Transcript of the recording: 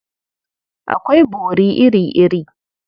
Akwai bori iri-iri.